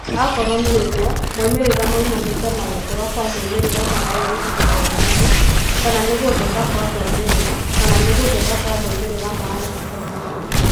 Akorwo nĩũguo, moimĩrĩra maumanĩte na gũkũra kwa moimĩrĩra ma airĩtu gĩthomo-inĩ kana nĩgũthũka kwa moimĩrĩra kana nĩgũthũka kwa moimĩrĩra ma anake ?